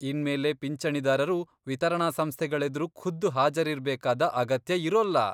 ಇನ್ಮೇಲೆ ಪಿಂಚಣಿದಾರರು ವಿತರಣಾ ಸಂಸ್ಥೆಗಳೆದ್ರು ಖುದ್ದು ಹಾಜರಿರ್ಬೇಕಾದ ಅಗತ್ಯ ಇರೋಲ್ಲ.